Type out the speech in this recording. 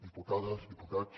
diputades diputats